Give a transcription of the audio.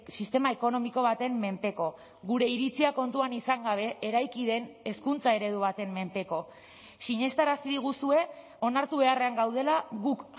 sistema ekonomiko baten menpeko gure iritzia kontuan izan gabe eraiki den hezkuntza eredu baten menpeko sinestarazi diguzue onartu beharrean gaudela guk